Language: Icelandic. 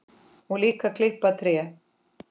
Og líka klippa tré.